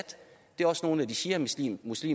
det er også nogle af de shiamuslimske